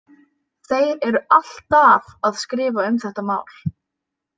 Þeir eru alltaf að skrifa um þetta mál.